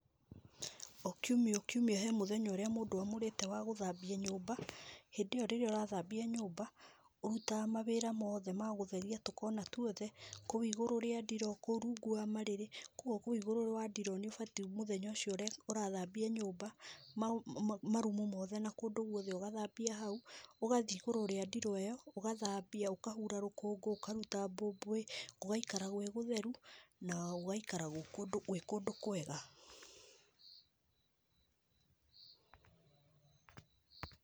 O kiumia o kiumia he mũthenya ũrĩa mũndũ amũrĩte wa gũthambia nyũmba. Hĩndĩ ĩyo rĩrĩa ũrathambia nyũmba, ũrutaga mawĩra mothe ma gũtheria tũkona tuothe, kũu igũrũ rĩa ndiro, kũu rungu wa marĩrĩ. Kũu igũrũ wa ndiro nĩ ũbatiĩ mũthenya ũcio ũrathambia nyũmba marumu mothe na kũndũ guothe ũgathambia hau, ũgathiĩ igũrũ rĩa ndiro ĩyo, ũgathambia, ũkahura rũkũngũ, ũkaruta mbũmbũĩ gũgaikara gwĩ gũtheru na gũgaikara gwĩ kũndũ kwega.